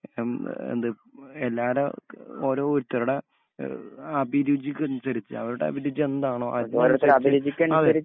അം എഹ് എന്ത് എല്ലാടെക്കെ ഓരോരുത്തരുടെ എഹ് അഭിരുചിക്കനുസരിച്ച് അവര്ടെ അഭിരുചിയെന്താണൊ അത് അതെ